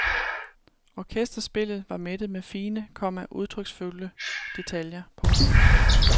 Orkesterspillet var mættet med fine, komma udtryksfulde detaljer. punktum